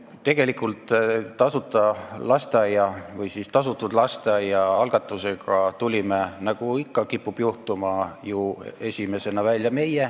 Tegelikult tulime tasuta lasteaia või siis tasutud lasteaia algatusega, nagu ikka on kippunud olema, esimesena välja meie.